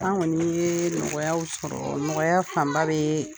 Anw kɔni ye nɔgɔyaw sɔrɔ nɔgɔya fanba bɛ